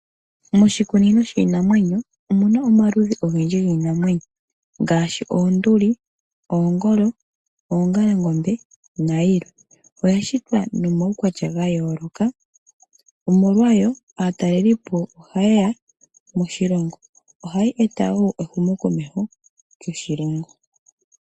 Moshikunino shiinamwenyo omu na omaludhi ogendji giinamwenyo ngaashi oonduli, oongolo, oongalangombe nayilwe. Oya shitwa nomawukwatya gayooloka omolwa yo aatalelipo ohaye ya moshilongo. Ohayi e ta wo ehumokomeho lyoshilongo.